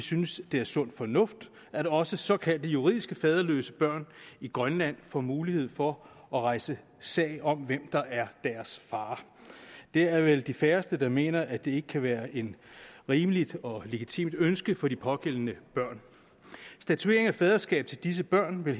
synes det er sund fornuft at også såkaldt juridisk faderløse børn i grønland får mulighed for at rejse sag om hvem der er deres far det er vel de færreste der mener at det ikke kan være et rimeligt og legitimt ønske for de pågældende børn statuering af faderskab til disse børn vil